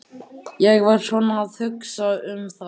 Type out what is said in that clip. Ég var svona að hugsa um það.